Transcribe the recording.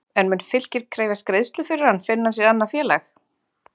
En mun Fylkir krefjast greiðslu fyrir hann finni hann sér annað félag?